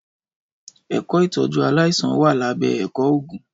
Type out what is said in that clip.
Ẹkọ Ìtọjú àláisàn wà là bẹ Ẹkọ Ògún